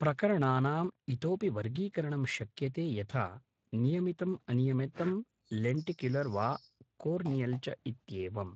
प्रकरणानाम् इतोऽपि वर्गीकरणं शक्यते यथा नियमितम् अनियमितं लेण्टिक्युलर् वा कोर्नियल् च इत्येवम्